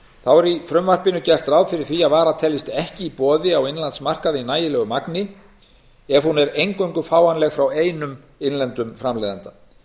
þá er í frumvarpinu gert ráð fyrir því að vara teljist ekki í boði á innanlandsmarkaði í nægjanlegu magni ef hún er eingöngu fáanleg frá einum innlendum framleiðanda